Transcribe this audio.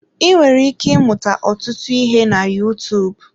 Ị nwere ike ịmụta ọtụtụ ihe na Yutuub.